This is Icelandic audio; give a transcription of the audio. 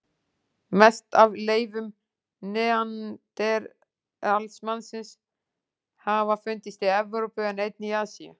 Mest af leifum neanderdalsmannsins hafa fundist í Evrópu en einnig í Asíu.